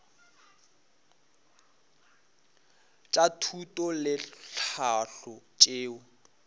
tša thuto le tlhahlo tšeo